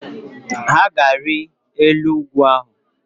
Ha ga-ari elu ugwu